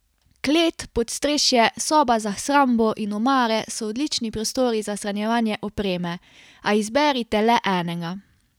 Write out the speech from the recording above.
Klet, podstrešje, soba za shrambo in omare so odlični prostori za shranjevanje opreme, a izberite le enega.